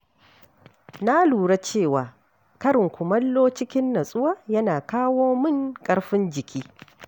Na lura cewa, karin kumallo cikin nutsuwa yana kawo mun ƙarfin jiki.